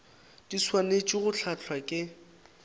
di swanetše go hlahlwa ke